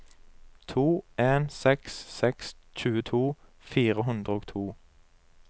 to en seks seks tjueto fire hundre og to